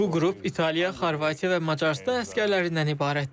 Bu qrup İtaliya, Xorvatiya və Macarıstan əsgərlərindən ibarətdir.